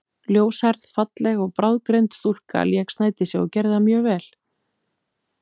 Ljóshærð, falleg og bráðgreind stúlka lék Snædísi og gerði það mjög vel.